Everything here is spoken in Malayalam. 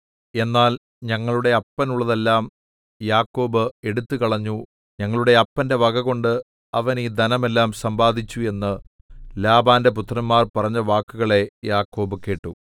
എന്നാൽ ഞങ്ങളുടെ അപ്പനുള്ളതെല്ലാം യാക്കോബ് എടുത്തുകളഞ്ഞു ഞങ്ങളുടെ അപ്പന്റെ വകകൊണ്ട് അവൻ ഈ ധനം എല്ലാം സമ്പാദിച്ചു എന്നു ലാബാന്റെ പുത്രന്മാർ പറഞ്ഞ വാക്കുകളെ യാക്കോബ് കേട്ടു